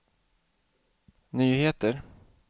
nyheter